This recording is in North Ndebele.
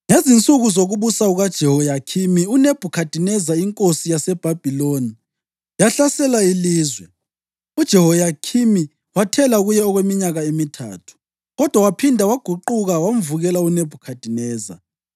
Ngezinsuku zokubusa kukaJehoyakhimi uNebhukhadineza inkosi yaseBhabhiloni yahlasela ilizwe, uJehoyakhimi wathela kuye okweminyaka emithathu. Kodwa waphinda waguquka wamvukela uNebhukhadineza.